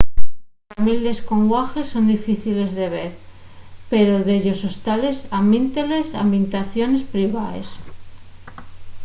les families con guaḥes son difíciles de ver pero dellos hostales almítenles n’habitaciones privaes